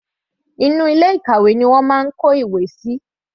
Inú ilé ìkàwé ni wọ́n máa ń kó ìwé síi.